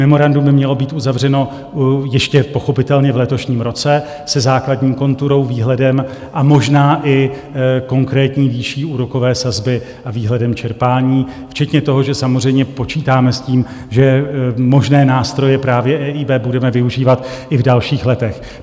Memorandum by mělo být uzavřeno ještě pochopitelně v letošním roce se základní konturou, výhledem a možná i konkrétní výší úrokové sazby a výhledem čerpání, včetně toho, že samozřejmě počítáme s tím, že možné nástroje právě EIB budeme využívat i v dalších letech.